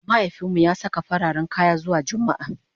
mahaifinmu ya Saka fararen kaya zuwa jumma'a